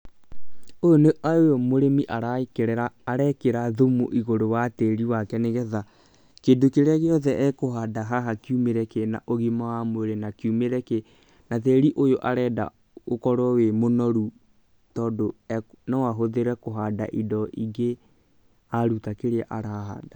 Ũyũ mũrĩmi arekĩra thumu igũrũ wa tĩri wake, nĩgetha kĩndũ kĩrĩa gĩothe ekũhanda haha kiumĩre kĩna ũgima wa mwĩrĩ na tĩri ũyũ arenda ũkorwo wĩ mũnoru tondũ no ahũthĩre kũhanda indo ingĩ aruta kĩrĩa arahanda.